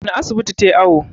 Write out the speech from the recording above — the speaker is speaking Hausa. wane asibiti ta yi awo?